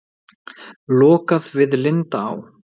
Lokað við Lindaá